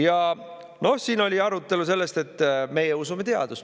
Ja noh, siin oli arutelu sellest, et meie usume teadust.